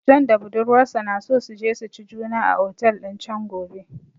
John da budurwarsa na so su je su ci juna a otel din chan gobe